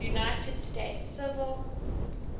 united states civil